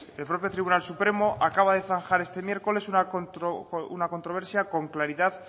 que el propio tribunal supremo acaba de zanjar este miércoles una controversia con claridad